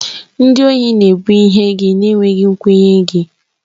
Ndị ohi na-ebu ihe gị na-enweghị nkwenye gị.